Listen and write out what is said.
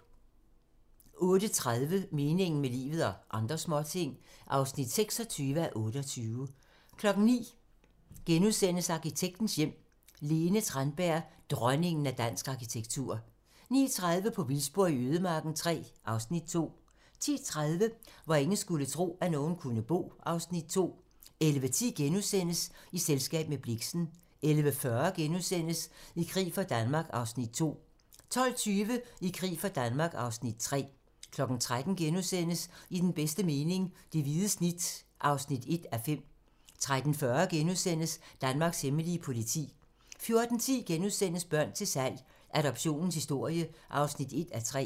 08:30: Meningen med livet - og andre småting (26:28) 09:00: Arkitektens hjem: Lene Tranberg - "Dronningen af dansk arkitektur" 09:30: På vildspor i ødemarken III (Afs. 2) 10:30: Hvor ingen skulle tro, at nogen kunne bo (Afs. 2) 11:10: I selskab med Blixen * 11:40: I krig for Danmark (Afs. 2)* 12:20: I krig for Danmark (Afs. 3) 13:00: I den bedste mening - Det hvide snit (1:5)* 13:40: Danmarks hemmelige politi * 14:10: Børn til salg - Adoptionens historie (1:3)*